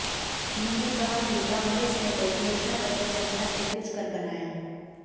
उन्होंने कहा कि कांग्रेस ने तो घोषणा पत्र जनता से पूछ कर बनाया